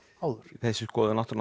áður þessi skoðun átti